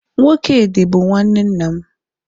Nwokedị bụ nwanne nna m